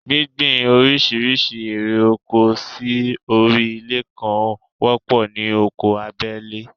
Gbíngbin oríṣiríṣi ère oko sí orí ilẹ̀ kan wọ́pọ̀ ní oko abẹ́lé